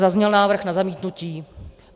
zazněl návrh na zamítnutí.